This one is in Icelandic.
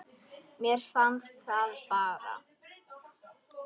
Mér fannst það bara.